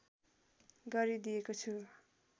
गरिदिएको छु